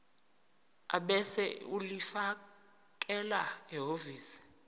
ebese ulifakela ehhovisi